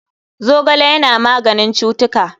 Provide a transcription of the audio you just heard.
Zogale Yana maganin cutuka.